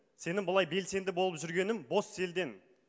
сенің былай белсенді болып жүргенің бос селтең